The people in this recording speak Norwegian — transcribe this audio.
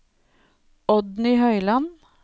Oddny Høyland